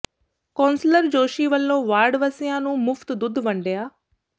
councillor Joshi ਵੱਲੋਂ ward ਵਾਸੀਆਂ ਨੂੰ ਮੁਫ਼ਤ ਦੁੱਧ ਵੰਡਿਆ